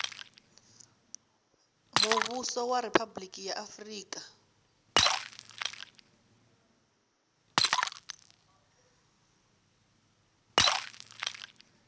muvhuso wa riphabuliki ya afurika